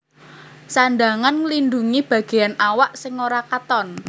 Sandhangan nglindhungi bagéan awak sing ora katon